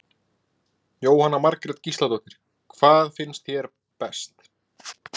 Jóhanna Margrét Gísladóttir: Hvað finnst þér best?